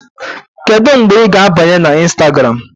Kedu mgbe ị ga-abanye na Instagram?